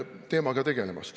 Aeg!